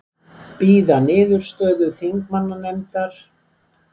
Bíða niðurstöðu þingmannanefndar